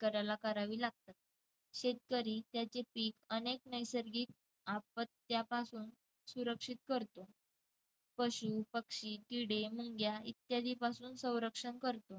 शेतकऱ्याला करावे लागतात शेतकरी त्याचे पिक अनेक नैसर्गिक आपत्यांपासून सुरक्षित करतो. पशु, पक्षी, किडे, मुंग्या इत्यादींपासून संरक्षण करतो.